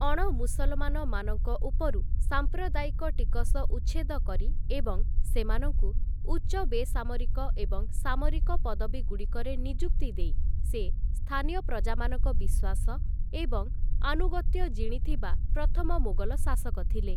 ଅଣମୁସଲମାନମାନଙ୍କ ଉପରୁ ସାମ୍ପ୍ରଦାୟିକ ଟିକସ ଉଚ୍ଛେଦ କରି ଏବଂ ସେମାନଙ୍କୁ ଉଚ୍ଚ ବେସାମରିକ ଏବଂ ସାମରିକ ପଦବୀଗୁଡ଼ିକରେ ନିଯୁକ୍ତି ଦେଇ, ସେ ସ୍ଥାନୀୟ ପ୍ରଜାମାନଙ୍କ ବିଶ୍ୱାସ ଏବଂ ଆନୁଗତ୍ୟ ଜିଣିଥିବା ପ୍ରଥମ ମୋଗଲ ଶାସକ ଥିଲେ ।